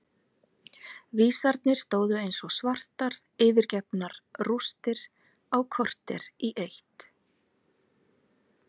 Vísarnir stóðu eins og svartar yfirgefnar rústir á kortér í eitt.